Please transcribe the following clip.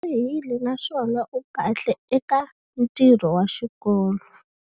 U tlharihile naswona u kahle eka ntirho wa xikolo.